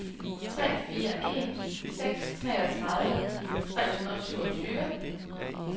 tre fire en seks treogtredive tre hundrede og syvogtyve